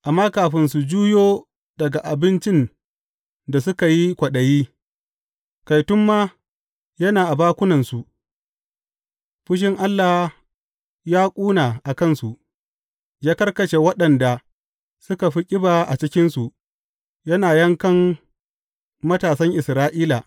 Amma kafin su juyo daga abincin da suka yi kwaɗayi, kai tun ma yana a bakunansu, fushin Allah ya ƙuna a kansu; ya karkashe waɗanda suka fi ƙiba a cikinsu, yana yankan matasan Isra’ila.